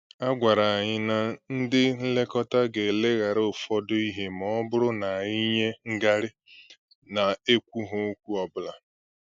A gwàrà anyị na ndị nlekọta gà-eleghara ụfọdụ ihe ma ọ bụrụ na anyị enye ngarị na-ekwughị okwu ọbụla